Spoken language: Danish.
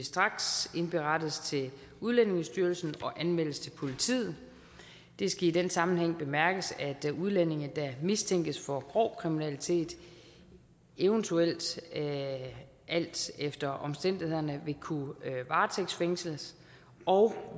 straks indberettes til udlændingestyrelsen og anmeldes til politiet det skal i den sammenhæng bemærkes at udlændinge der mistænkes for grov kriminalitet eventuelt alt efter omstændighederne vil kunne varetægtsfængsles og